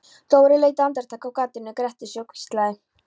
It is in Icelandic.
Dóri leit andartak af gatinu, gretti sig og hvíslaði